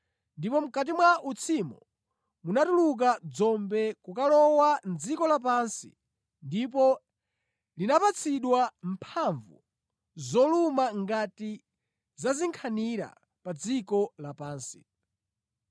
Ndipo mʼkati mwa utsimo munatuluka dzombe kukalowa mʼdziko lapansi ndipo linapatsidwa mphamvu zoluma ngati za zinkhanira pa dziko lapansi.